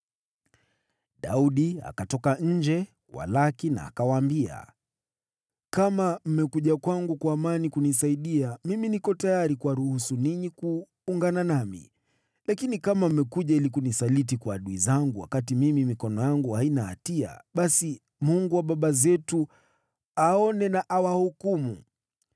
Daudi akatoka nje kuwalaki na akawaambia, “Kama mmekuja kwangu kwa amani, kunisaidia, mimi niko tayari kuwaruhusu ninyi kuungana nami. Lakini kama mmekuja ili kunisaliti kwa adui zangu wakati mimi mikono yangu haina hatia, basi Mungu wa baba zetu aone na awahukumu.”